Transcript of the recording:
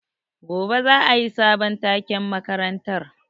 Gobe za a yi sabon taken makarantar.